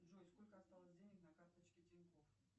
джой сколько осталось денег на карточке тинькофф